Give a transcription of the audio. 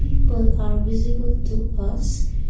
people are visible to us.